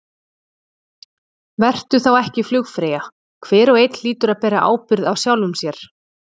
Vertu þá ekki flugfreyja, hver og einn hlýtur að bera ábyrgð á sjálfum sér.